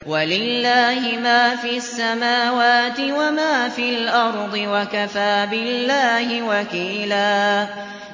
وَلِلَّهِ مَا فِي السَّمَاوَاتِ وَمَا فِي الْأَرْضِ ۚ وَكَفَىٰ بِاللَّهِ وَكِيلًا